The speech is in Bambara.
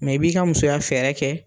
Mɛ i b'i ka musoya fɛɛrɛ kɛ